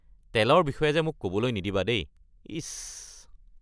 তেলৰ বিষয়ে যে মোক ক’বলৈ নিদিবা দেই, ইচ।